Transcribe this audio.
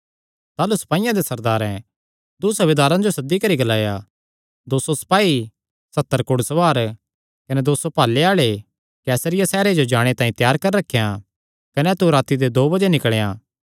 ताह़लू सपाईयां दे सरदारैं दूँ सूबेदारां जो सद्दी करी ग्लाया दो सौ सपाई सत्तर घुड़सवार कने दो सौ भाले आल़े कैसरिया सैहरे जो जाणे तांई त्यार करी रखेयां कने तू राती दे नौ बजे निकल़ेयां